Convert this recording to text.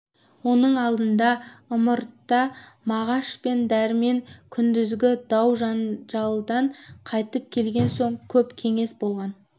оның алдында ымыртта мағаш пен дәрмен күндізгі дау-жанжалдан қайтып келген соң көп кеңес болған